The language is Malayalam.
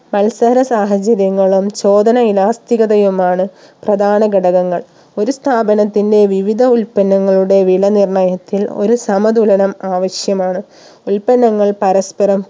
മത്സര സാഹചര്യങ്ങളും ചോദന Elastic ഗഥയുമാണ് പ്രധാന ഘടകങ്ങൾ ഒരു സ്ഥാപനത്തിന്റെ വിവിധ ഉൽപ്പന്നങ്ങളുടെ വില നിർണ്ണയത്തിൽ ഒരു സമ തുലനം ആവശ്യമാണ് ഉൽപ്പന്നങ്ങൾ പരസ്പരം